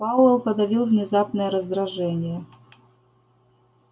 пауэлл подавил внезапное раздражение